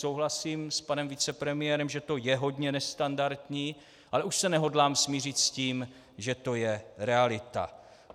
Souhlasím s panem vicepremiérem, že to je hodně nestandardní, ale už se nehodlám smířit s tím, že to je realita.